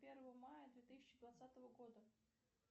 первого мая две тысячи двадцатого года